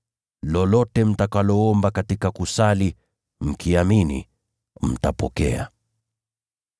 Yoyote mtakayoyaomba mkisali na mkiamini, mtayapokea.”